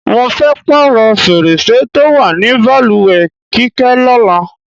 Mo fé̩ pààrò̩ fèrèsé tó wà ní balùwè̩ Kíké̩ ló̩la.